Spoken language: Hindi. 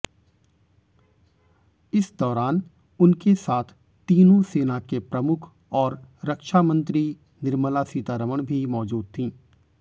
इस दौरान उनके साथ तीनों सेना के प्रमुख और रक्षामंत्री निर्मला सीतारमण भी मौजूद थीं